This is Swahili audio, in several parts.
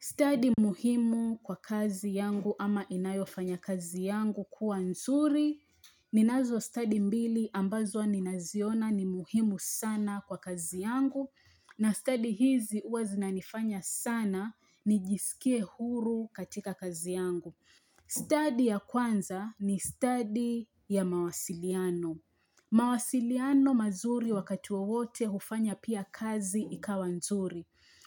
Study muhimu kwa kazi yangu ama inayofanya kazi yangu kuwa nzuri. Ninazo study mbili ambazo ninaziona ni muhimu sana kwa kazi yangu. Na study hizi huwa zinanifanya sana nijisikie huru katika kazi yangu. Study ya kwanza ni study ya mawasiliano. Mawasiliano mazuri wakati wowote hufanya pia kazi ikawa nzuri.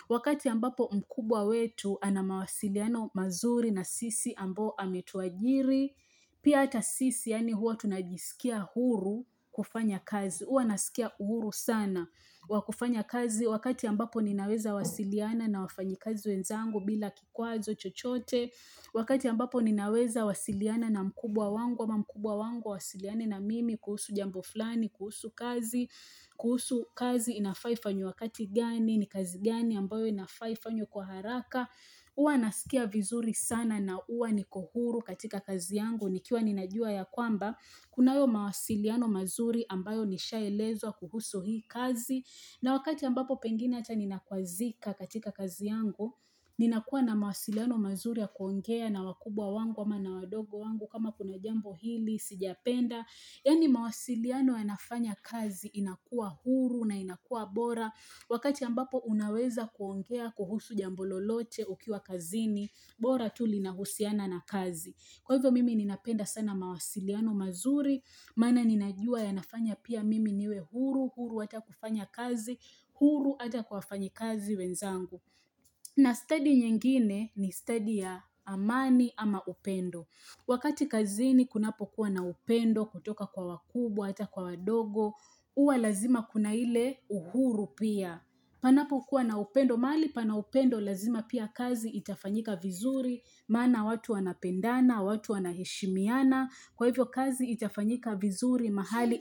Wakati ambapo mkubwa wetu ana mawasiliano mazuri na sisi ambao ametuajiri pia hata sisi yaani huwa tunajisikia huru kufanya kazi huwa nasikia huru sana wa kufanya kazi wakati ambapo ninaweza wasiliana na wafanyikazi wenzangu bila kikwazo chochote wakati ambapo ninaweza wasiliana na mkubwa wangu ama mkubwa wangu awasiliane na mimi kuhusu jambo fulani, kuhusu kazi, kuhusu kazi inafaa ifanywe wakati gani ni kazi gani ambayo inafa ifanywe kwa haraka. Huwa nasikia vizuri sana na huwa niko huru katika kazi yangu. Nikiwa ninajua ya kwamba, kunayo mawasiliano mazuri ambayo nishaelezwa kuhusu hii kazi. Na wakati ambapo pengine hata ninakwazika katika kazi yangu, ninakua na mawasiliano mazuri ya kuongea na wakubwa wangu ama na wadogo wangu kama kuna jambo hili, sijapenda. Yaani mawasiliano yanafanya kazi inakua huru na inakua bora. Wakati ambapo unaweza kuongea kuhusu jambo lolote ukiwa kazini, bora tu linahusiana na kazi. Kwa hivyo mimi ninapenda sana mawasiliano mazuri, maana ninajua yanafanya pia mimi niwe huru, huru hata kufanya kazi, huru hata wafanyikazi wenzangu. Na study nyingine ni study ya amani ama upendo. Wakati kazini kunapokuwa na upendo kutoka kwa wakubwa, hata kwa wadogo, huwa lazima kuna ile uhuru pia. Panapokuwa na upendo, mahali pana upendo lazima pia kazi itafanyika vizuri, maana watu wanapendana, watu wanaheshimiana, kwa hivyo kazi itafanyika vizuri mahali.